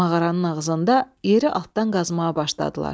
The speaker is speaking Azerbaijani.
Mağaranın ağzında yeri altdan qazmağa başladılar.